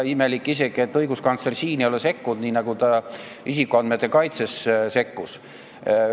Imelik isegi, et õiguskantsler ei ole sekkunud, nii nagu ta isikuandmete kaitsesse sekkus.